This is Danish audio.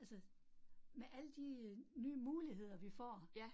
Altså med alle de øh nye muligheder, vi får